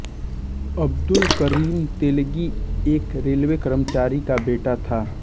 अब्दुल करीम तेलगी एक रेलवे कर्मचारी का बेटा था